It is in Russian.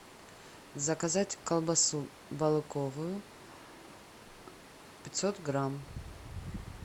заказать колбасу балыковую пятьсот грамм